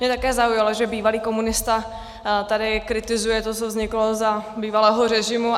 Mě také zaujalo, že bývalý komunista tady kritizuje to, co vzniklo za bývalého režimu.